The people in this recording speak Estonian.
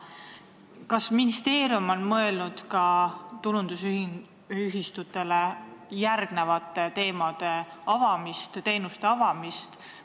Kas ministeerium on mõelnud tulundusühistutele ka järgmisi teenuseid avada?